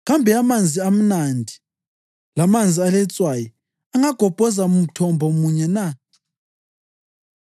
Kambe amanzi amnandi lamanzi aletswayi angagobhoza mthombo munye na?